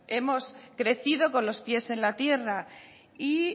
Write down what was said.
hemos crecido con los pies en la tierra y